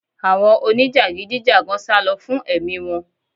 Àwọn onijagidi jagan salo fún ẹ̀mí wọ́n